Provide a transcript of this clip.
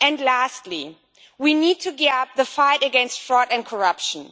Lastly, we need to gear up the fight against fraud and corruption.